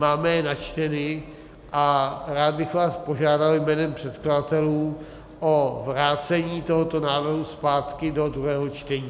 Máme je načteny a rád bych vás požádal jménem předkladatelů o vrácení tohoto návrhu zpátky do druhého čtení.